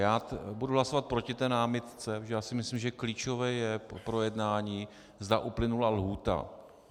Já budu hlasovat proti té námitce, protože si myslím, že klíčové je pro jednání, zda uplynula lhůta.